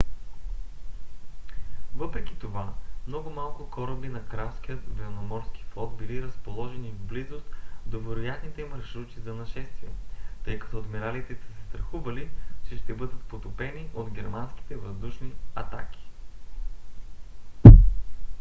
въпреки това много малко кораби на кралския военноморски флот били разположени в близост до вероятните маршрути за нашествие тъй като адмиралите са се страхували че ще бъдат потопени от германските въздушни атаки